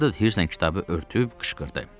Vildur hirslə kitabı örtüb qışqırdı.